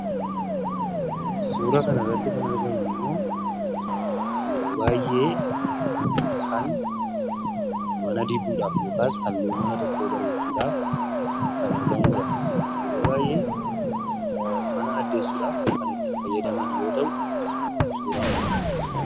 Suuraa kanarratti kan argamu immoo yeroo baay'ee kan mana dibuudhaaf yookaas halluu mana tokkoo bareechuudhaaf kan argamuu dha. Yeroo baay'ee mana addeessuudhaaf kan itti fayyadaman yoo ta'u, suuraan kun kanuma.